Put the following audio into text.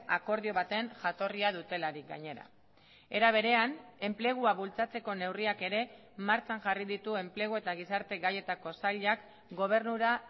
akordio baten jatorria dutelarik gainera era berean enplegua bultzatzeko neurriak ere martxan jarri ditu enplegu eta gizarte gaietako sailak gobernura